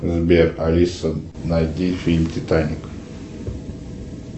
сбер алиса найди фильм титаник